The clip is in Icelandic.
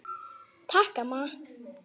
Takk, amma.